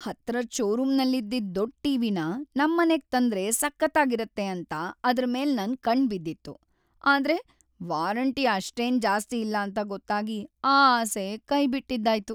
ಹತ್ರದ್‌ ಷೋರೂಮಲ್ಲಿದ್ದಿದ್‌ ದೊಡ್ಡ್‌ ಟಿ.ವಿ.ನ ನಮ್ಮನೆಗ್ ತಂದ್ರೆ ಸಖತ್ತಾಗಿರತ್ತೆ ಅಂತ ಅದ್ರ್‌ ಮೇಲ್‌ ನನ್‌ ಕಣ್ಣ್‌ ಬಿದ್ದಿತ್ತು‌, ಆದ್ರೆ ವಾರಂಟಿ ಅಷ್ಟೇನ್‌ ಜಾಸ್ತಿ ಇಲ್ಲ ಅಂತ ಗೊತ್ತಾಗಿ ಆ ಆಸೆ ಕೈಬಿಟ್ಟಿದ್ದಾಯ್ತು.